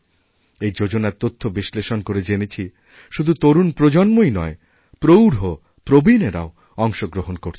এই যোজনার তথ্য বিশ্লেষণ করে জেনেছি শুধুতরুণ প্রজন্মই নয় প্রৌঢ় প্রবীণেরাও অংশগ্রহণ করছেন